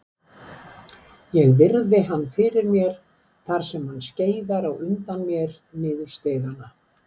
Ég virði hann fyrir mér þar sem hann skeiðar á undan mér niður stigana.